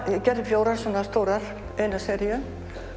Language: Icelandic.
gerði fjórar svona stórar eina seríu